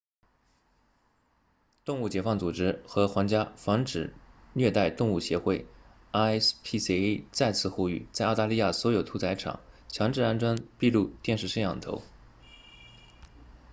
动物解放组织和皇家防止虐待动物协会 rspca 再次呼吁在澳大利亚所有屠宰场强制安装闭路电视摄像头